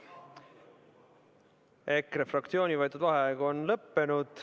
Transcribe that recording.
EKRE fraktsiooni võetud vaheaeg on lõppenud.